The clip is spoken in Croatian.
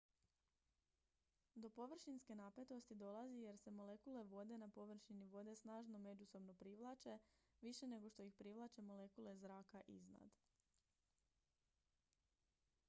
do površinske napetosti dolazi jer se molekule vode na površini vode snažno međusobno privlače više nego što ih privlače molekule zraka iznad